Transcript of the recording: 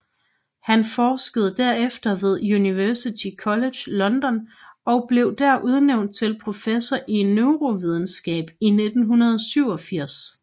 Han forskede derefter ved University College London og blev der udnævnt til professor i neurovidenskab i 1987